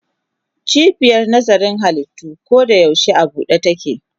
Cibiyar nazarin halittu koyaushe a buɗe take.